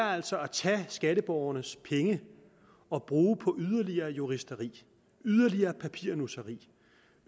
er altså at tage skatteborgernes penge og bruge dem på yderligere juristeri yderligere papirnusseri